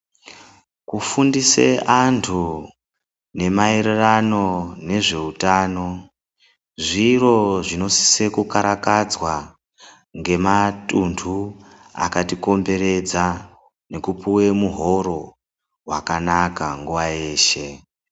Kufundisa antu nemaererano nezveutano zviro zvinosisa kukarakadzwa ngematuntu akatikomberedza nekupiwa muhoro wakanaka nguwa yeshe.